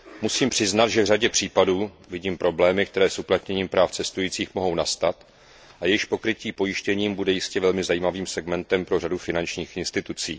Musím přiznat, že v řadě případů vidím problémy, které s uplatněním práv cestujících mohou nastat a jejichž pokrytí pojištěním bude jistě velmi zajímavým segmentem pro řadu finančních institucí.